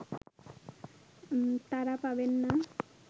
তারা পাবেন না